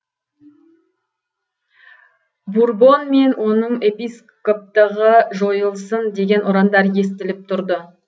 бурбон мен оның епископтығы жойылсын деген ұрандар естіліп тұрды